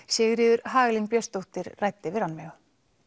Sigríður Hagalín Björnsdóttir ræddi við Rannveigu